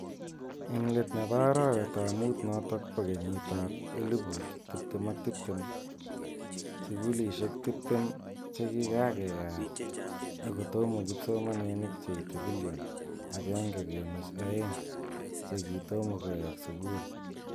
Eng let ne bo arawet ab mut notok ba kenyit ab elupu tiptem ak tiptem , sukulishek tiptem che kikakeyat ako kotomo kipsomaninik che ite bilion akenge kunuch aeng che kitoma kuwek sukul.